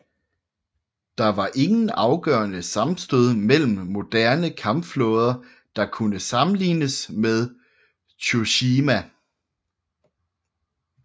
Der var ingen afgørende sammenstød mellem moderne kampflåder der kunne sammenlignes med Tsushima